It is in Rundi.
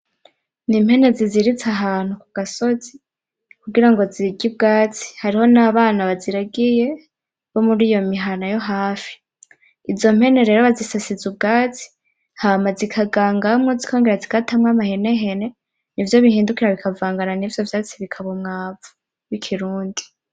N’impene ziziritse ahantu ku gasozi kugira ngo zirye ubwatsi, hariho n’abana baziragiye bo muriyo mihana yo hafi. Izo mpene rero bazisasiza ubwatsi Hama zikagangamwo zikongera zigatamwo amahenehene n’ivyo bihindukira bikavangana n’ivyo vyatsi bikaba umwavu w’ikirundi .